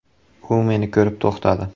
“U meni ko‘rib to‘xtadi.